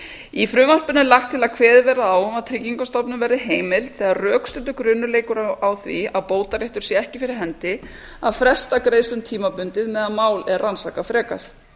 í frumvarpinu er lagt til að kveðið verði á um að tryggingastofnun verði heimilt þegar rökstuddur grunur leikur á því að bótaréttur sé ekki fyrir hendi að fresta greiðslum tímabundið meðan mál er rannsakað frekar